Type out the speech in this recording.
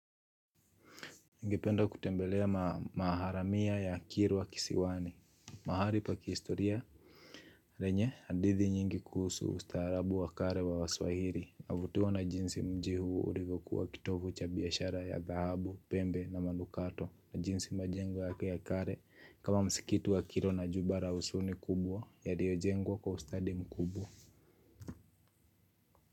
Ningependa kutembelea maharamia ya kirwa kisiwani, mahali pa kihistoria. Penye, hadithi nyingi kuhusu ustaarabu wa kale wa waswahili, navutiwa na jinsi mji huu ulivyokuwa kitovu cha biashara ya dhahabu, pembe na manukato, na jinsi majengo yake ya kale, kama msikiti wa kiro na jumba la usuni kubwa, yaliyojengwa kwa ustadi mkubwa.